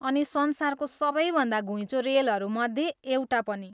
अनि संसारको सबैभन्दा घुइँचो रेलहरूमध्ये एउटा पनि।